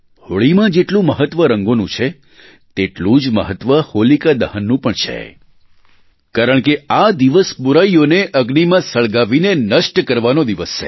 હોળીમાં જેટલું મહત્વ રંગોનું છે તેટલું જ મહત્વ હોલિકા દહનનું પણ છે કારણ કે આ દિવસ બુરાઈઓને અગ્નિમાં સળગાવીને નષ્ટ કરવાનો દિવસ છે